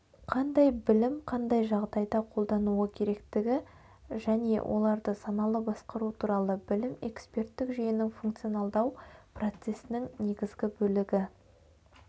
қандай білім қандай жағдайда қолдануы керектігі және оларды саналы басқару туралы білім эксперттік жүйенің функционалдау процессінің негізгі бөлігі